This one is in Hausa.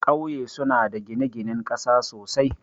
Kauye suna da gine-ginen ƙasa sosai,